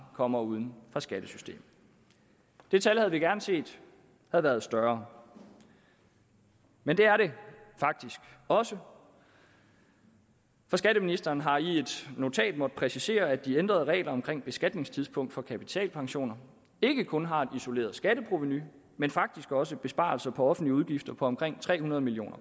kommer uden for skattesystemet det tal havde vi gerne set havde været større men det er det faktisk også for skatteministeren har i et notat måttet præcisere at de ændrede regler omkring beskatningstidspunkt for kapitalpensioner ikke kun har et isoleret skatteprovenu men faktisk også besparelser på offentlige udgifter på omkring tre hundrede million